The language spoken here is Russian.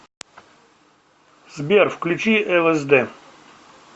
сбер включи лсд